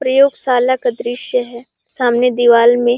प्रयोगशाला का दृश्य है सामने दीवाल में--